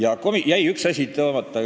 Üks asi jäi välja toomata.